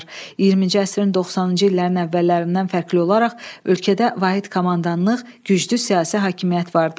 20-ci əsrin 90-cı illərin əvvəllərindən fərqli olaraq ölkədə vahid komandanlıq, güclü siyasi hakimiyyət vardı.